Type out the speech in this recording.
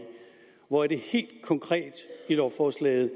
hvor er det helt konkret i lovforslaget